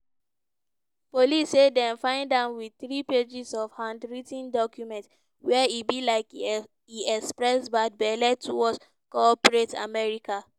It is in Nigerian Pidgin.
police say dem find am with three pages of handwrit ten documents where e be like e express "bad belle towards corporate america".